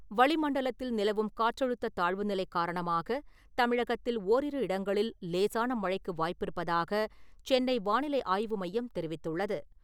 வளிமண்டலத்தில் நிலவும் காற்றழுத்தத் தாழ்வு நிலை காரணமாக தமிழகத்தில் ஓரிரு இடங்களில் லேசான மழைக்கு வாய்ப்பிருப்பதாக சென்னை வானிலை ஆய்வு மையம் தெரிவித்துள்ளது.